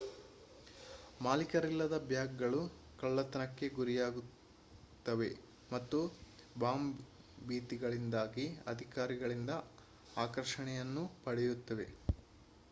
ಮಾಲೀಕರಿಲ್ಲದ ಬ್ಯಾಗ್‌ಗಳು ಕಳ್ಳತನಕ್ಕೆ ಗುರಿಯಾಗುತ್ತವೆ ಮತ್ತು ಬಾಂಬ್‌ ಭೀತಿಗಳಿಂದಾಗಿ ಅಧಿಕಾರಿಗಳಿಂದ ಆಕರ್ಷಣೆಯನ್ನೂ ಪಡೆಯುತ್ತವೆ